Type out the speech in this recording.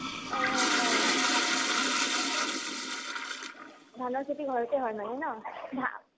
অ অ । আত্চ্চা । ধানৰ খেতি ঘৰতে হয় মানে ন ? আ